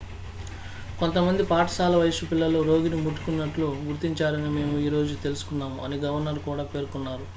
"""కొంతమంది పాఠశాల వయస్సు పిల్లలు రోగిని ముట్టుకున్నట్లు గుర్తించారని మేము ఈ రోజు తెలుసుకున్నాము" అని గవర్నర్ కూడా పేర్కొన్నారు.